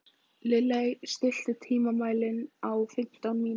Lilley, stilltu tímamælinn á fimmtán mínútur.